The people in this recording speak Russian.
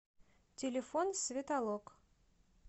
телефон светолок